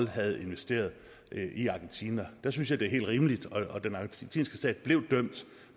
havde investeret i argentina der synes jeg det er helt rimeligt og den argentinske stat blev dømt